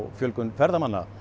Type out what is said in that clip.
fjölgun ferðamanna